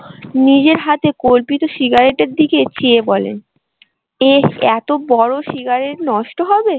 নিজের হাতে কল্পিত সিগারেটের দিকে চেয়ে বলেন, এ এতো বড়ো সিগারেট নষ্ট হবে।